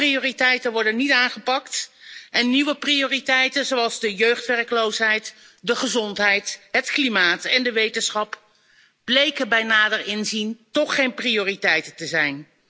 Oude prioriteiten worden niet aangepakt en nieuwe prioriteiten, zoals de jeugdwerkloosheid, de gezondheid, het klimaat en de wetenschap, bleken bij nader inzien toch geen prioriteit te zijn.